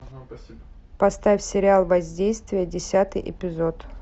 поставь сериал воздействие десятый эпизод